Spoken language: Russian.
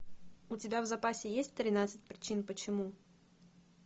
у тебя в запасе есть тринадцать причин почему